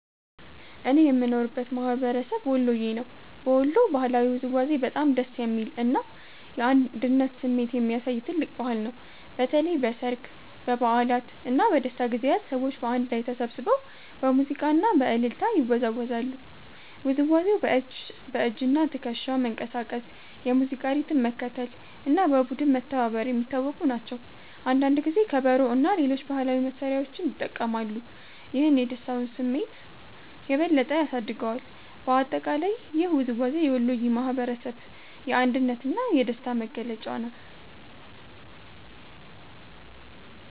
እኔ የምኖርበት ማህበረሰብ ወሎየ ነው። በወሎ ባህላዊ ውዝዋዜ በጣም ደስ የሚል እና የአንድነት ስሜት የሚያሳይ ትልቅ ባህል ነው። በተለይ በሠርግ፣ በበዓላት እና በደስታ ጊዜያት ሰዎች በአንድ ላይ ተሰብስበው በሙዚቃ እና በእልልታ ይወዛወዛሉ። ውዝዋዜው በእጅና ትከሻ መንቀሳቀስ፣ የሙዚቃ ሪትም መከተል እና በቡድን መተባበር የሚታወቁ ናቸው። አንዳንድ ጊዜ ከበሮ እና ሌሎች ባህላዊ መሳሪያዎች ይጠቀማሉ፣ ይህም የደስታውን ስሜት የበለጠ ያሳድገዋል። በአጠቃላይ ይህ ውዝዋዜ የወሎየ ማህበረሰብ የአንድነት እና የደስታ መገለጫ ነው።